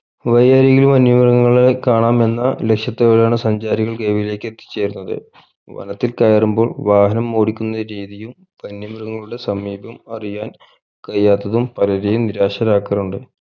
വഴിയരികിൽ വന്യമൃഗങ്ങളെ കാണാം എന്ന ലക്ഷ്യത്തോടെയാണ് സഞ്ചാരികൾ ഗവിയിലേക്ക് എത്തി ചേരുന്നത് വനത്തിൽ കയറുമ്പോൾ വാഹനം ഓടിക്കുന്ന രീതിയും വന്യ മൃഗങ്ങളുടെ സമീപം അറിയാൻ കഴിയാത്തതും പലരേയും നിരാശരാക്കാറുണ്ട്